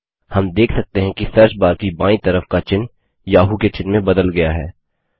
हम देख सकते हैं कि सर्चबार की बायीं तरफ का चिह्न याहू के चिह्न में बदल गया है